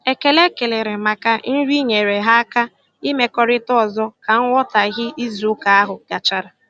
Ekele e kelere maka nri nyeere ha aka imekọrịta ọzọ ka nghọtaghie izuụka ahụ gachara.